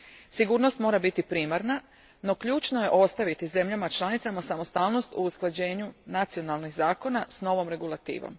Sigurnost mora biti primarna, no ključno je državama članicama ostaviti samostalnost u usklađivanju nacionalnih zakona s novom regulativom.